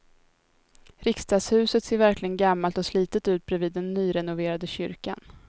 Riksdagshuset ser verkligen gammalt och slitet ut bredvid den nyrenoverade kyrkan.